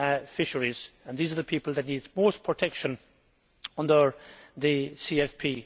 fisheries, and these are the people that need most protection under the CFP.